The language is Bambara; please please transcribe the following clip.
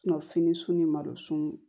fini sun ni malo sun